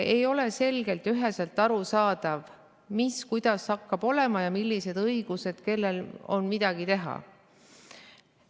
Ei ole selgelt ja üheselt arusaadav, mis kuidas hakkab olema ja millised õigused on kellel midagi teha.